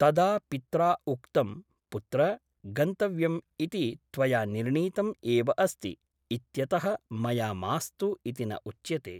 तदा पित्रा उक्तम् पुत्र गन्तव्यम् इति त्वया निर्णीतम् एव अस्ति इत्यतः मया मास्तु इति न उच्यते ।